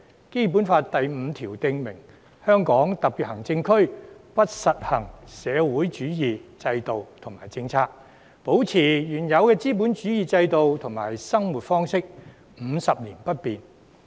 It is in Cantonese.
《基本法》第五條訂明："香港特別行政區不實行社會主義制度和政策，保持原有的資本主義制度和生活方式，五十年不變。